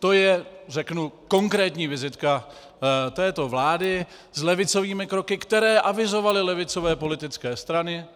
To je, řeknu, konkrétní vizitka této vlády s levicovými kroky, které avizovaly levicové politické strany.